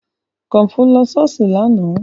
Kọmfọ́ lọ ṣọ́ọ̀ṣì lánàá